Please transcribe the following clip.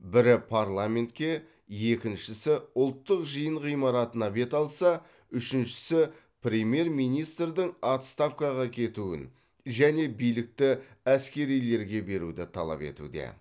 бірі парламентке екіншісі ұлттық жиын ғимаратына бет алса үшіншісі премьер министрдің отставкаға кетуін және билікті әскерилерге беруді талап етуде